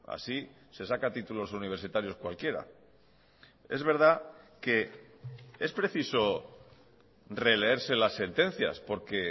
así se saca títulos universitarios cualquiera es verdad que es preciso releerse las sentencias porque